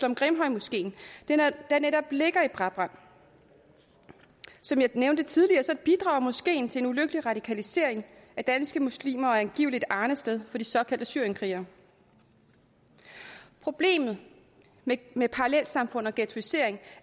om grimhøjmoskeen der netop ligger i brabrand som jeg nævnte tidligere bidrager moskeen til en ulykkelig radikalisering af danske muslimer og er angiveligt arnested for de såkaldte syrienskrigere problemerne med parallelsamfund og ghettoisering